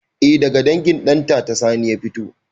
Eh daga dangin ɗantata sani ya fito